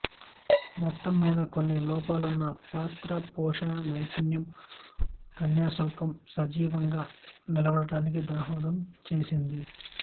మొత్తం మీద కొన్ని లోపాలున్నా పాత్ర పోషణా నైపుణ్యం కన్యాశుల్కం సజీవంగా నిలబడడానికి దోహదం చేసింది